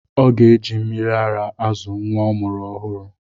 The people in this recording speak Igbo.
Ọ ga-eji mmịrị ara azụ nwa ọ mụrụ ọhụrụ.